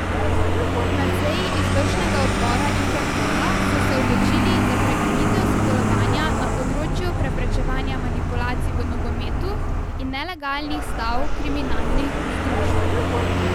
Na seji izvršnega odbora Interpola so se odločili za prekinitev sodelovanja na področju preprečevanja manipulacij v nogometu in nelegalnih stav kriminalnih združb.